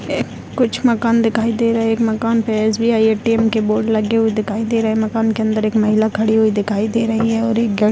कुछ मकान दिखाई दे रहे है एक मकान पे एस बी आई ए.टी.एम. के बोर्ड लगे हुए दिखाई दे रहे मकान के अंदर के महिला खड़ी हुई दिखाई दे रही है और एक --